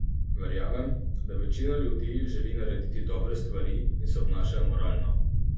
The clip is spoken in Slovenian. Verjamem, da večina ljudi želi narediti dobre stvari in se obnašajo moralno.